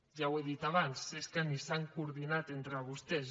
ja ho he dit abans és que ni s’han coordinat entre vostès